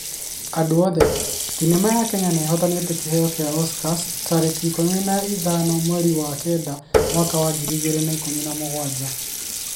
Andũ othe: Thenema ya Kenya nĩihotanĩte kĩheo gĩa Oscars tarĩki ikũmi na ithano mweri-inĩ wa kenda mwaka wa ngiri igĩrĩ na ikũmi na mũgwanja